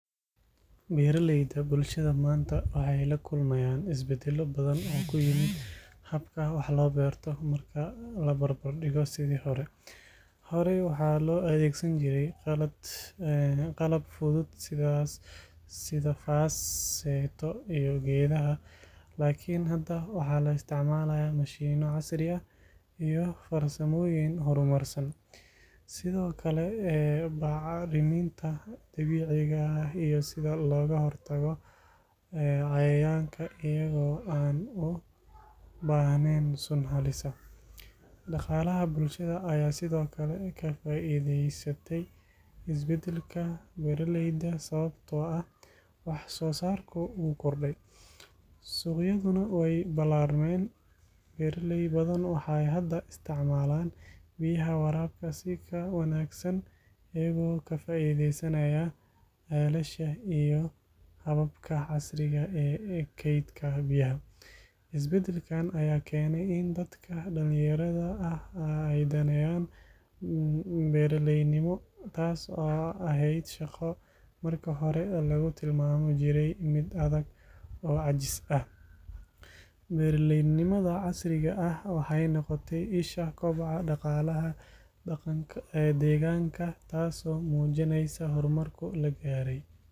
Beeralayda bulshada maanta waxay la kulmayaan isbeddelo badan oo ku yimid habka wax loo beerto marka la barbardhigo sidii hore. Horey waxaa loo adeegsan jiray qalab fudud sida faas, seeto iyo geedaha, laakiin hadda waxaa la isticmaalaa mashiinno casri ah iyo farsamooyin horumarsan. Sidoo kale, aqoonta beeralayda ayaa korodhay, waxay bartaan sida loo isticmaalo bacriminta dabiiciga ah iyo sida looga hortago cayayaanka iyagoo aan u baahnayn sun halis ah. Dhaqaalaha bulshada ayaa sidoo kale ka faa'iidaystay isbeddelka beeralayda sababtoo ah wax soo saarku wuu kordhay, suuqyaduna way ballaarmeen. Beeraley badan waxay hadda isticmaalaan biyaha waraabka si ka wanaagsan iyagoo ka faa'iideysanaya ceelasha iyo hababka casriga ah ee kaydka biyaha. Isbeddelkan ayaa keenay in dadka dhalinyarada ah ay daneynayaan beeraleynimo, taas oo ahayd shaqo markii hore lagu tilmaami jiray mid adag oo caajis ah. Beeraleynimada casriga ah waxay noqotay isha koboca dhaqaalaha deegaanka, taasoo muujinaysa horumarka la gaaray.